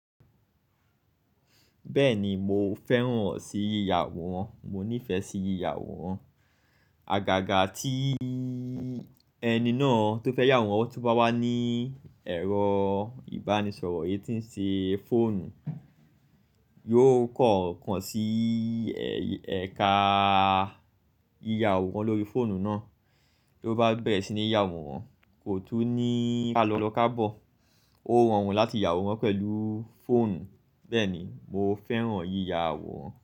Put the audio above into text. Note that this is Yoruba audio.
Bẹ́ẹ̀ni, mo fẹ́ràn ọ̀ sí yíya àworan, mo nífẹ̀ẹ́ sí yíya àworan. Àgàgà tí ẹni náà tó fẹ́ yà aworan to bá wà ní ẹ̀rọ ìbánisọ̀rọ̀ eyi tí ń ṣe fóònù, yóò kàn kaan sí ẹ̀ka yíya àworan lórí fóònù náà. Bí ó bá bẹ̀rẹ̀ sí ní yà aworan, kò tún ní ká lọ ka bọ̀. Ó rọrùn láti yà aworan pẹ̀lúu fóònù. Bẹ́ẹ̀ni, mo fẹ́ràn yíya àwọ̀ wọn.